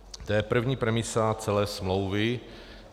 To je první premisa celé smlouvy.